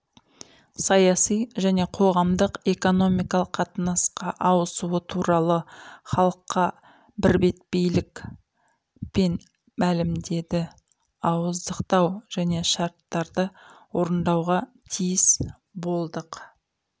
саяси және қоғамдық экономикалық қатынасқа ауысуы туралы халыққа бірбеткейлік пен мәлімдеді ауыздықтау және шарттарды орындауға тиіс болдық